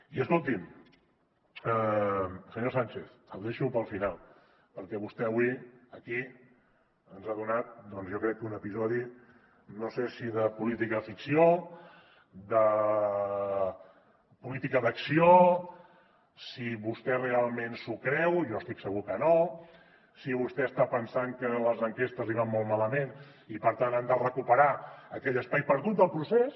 i escolti’m senyor sánchez el deixo per al final perquè vostè avui aquí ens ha donat doncs jo crec que un episodi no sé si de política ficció de política d’acció si vostè realment s’ho creu jo estic segur que no si vostè està pensant que les enquestes li van molt malament i per tant han de recuperar aquell espai perdut del procés